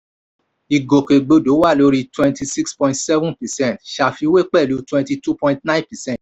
ìgòkègbodò wà lórí twenty-six point seven percent ṣáfiwé pẹ̀lú twenty-two point nine percent